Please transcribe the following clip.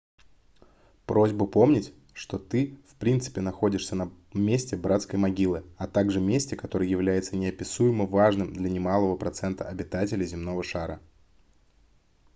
просьба помнить что ты в принципе находишься на месте братской могилы а также месте которое является неописуемо важным для немалого процента обитателей земного шара